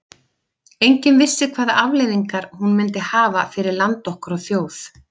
Enginn vissi hvaða afleiðingar hún myndi hafa fyrir land okkar og þjóð.